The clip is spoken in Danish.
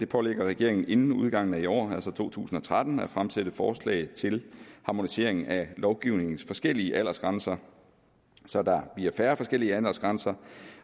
pålægger regeringen inden udgangen af i år altså to tusind og tretten at fremsætte forslag til en harmonisering af lovgivningens forskellige aldersgrænser så der bliver færre forskellige aldersgrænser